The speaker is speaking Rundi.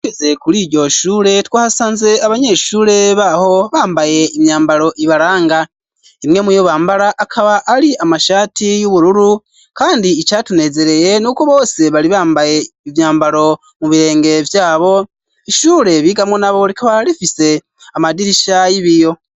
Tugeze kuri iryo shure twasanze abanyeshure baho bambaye imyambalo ibalanga imwe mu yo bambara akaba ali amashaati y'ubururu kandi icatunezereye n'uko bosi bari bambaye imyambaro mu birenge vyabo ishure biga mu nabo likaba lifise amadirisha y'ibiyo.